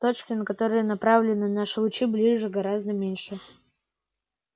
точки на которые направлены наши лучи ближе и гораздо меньше